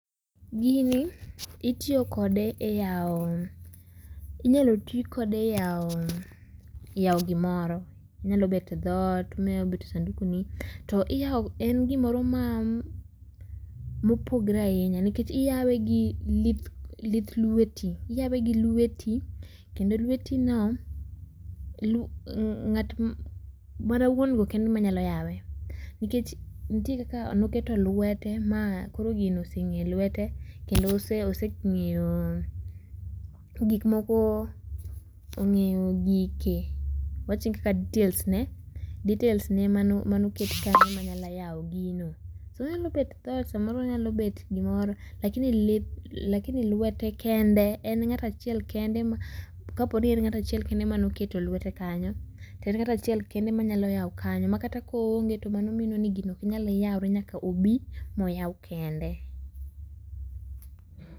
Gini itiyo kode e yawo gimoro, onyalo bet dhoot onyalo bet sanduku ni to en gimoro ma opogore ahinya nikech iyawe gi lith lweti, iyawe gi , kendo lweti no, mana wuon go kende ema nyalo yawe nikech nitie kaka noketo ma koro gino osengeyo lwete .Kendo osengeyo gik moko ongeyo gike, awachni kaka details ne, details ne mane oket kanyo manyalo yawo gino, onyalo bet dhoot samoro onyalo bedo gimoro, lakini lwete kende. En ng'ato achiel kende, kaponi en ng'ato achiel mane oketo lwete kanyo to en ng'atachiel kende manyalo yawo kanyo makata koonge to mano mino ni gino ok nyal yawre nyaka obi ma oyaw kende.